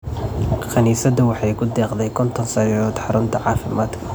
Kaniisaddu waxay ku deeqday konton sariirood xarunta caafimaadka.